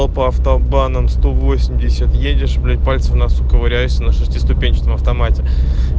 а по автобанам сто восемьдесят едешь блять пальцем в носу ковыряешься на шестиступенчатом автомате